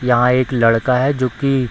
यहां एक लड़का है जो की --